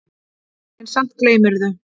En samt gleymirðu.